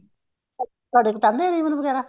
ਤੁਹਾਡੇ ਕਟਾਂਦੇ ਨੇ ਰੀਬਨ ਵਗੈਰਾ